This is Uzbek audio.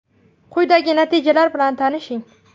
Quyida natijalar bilan tanishing.